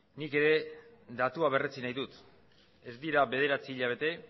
nik ere datua berretsi nahi dut ez dira bederatzi hilabete